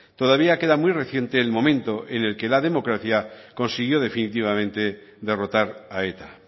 todavía queda muy reciente el momento en el que la democracia consiguió definitivamente derrotar a eta